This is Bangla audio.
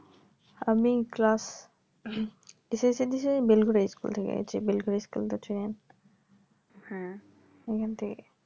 আমি classssc দিয়েছি আমি বেলঘড়িয়া school তো চেনেন